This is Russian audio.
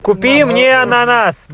купи мне ананас